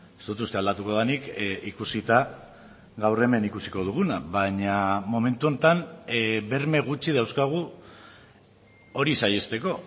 ez dut uste aldatuko denik ikusita gaur hemen ikusiko duguna baina momentu honetan berme gutxi dauzkagu hori saihesteko